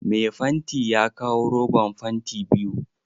Mai fanti ya kawo roban fanti biyu.